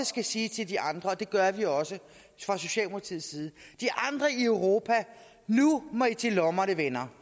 skal sige til de andre og det gør vi også fra socialdemokratiets side nu må i til lommerne venner